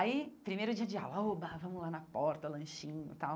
Aí, primeiro dia de aula, oba vamos lá na porta, lanchinho e tal.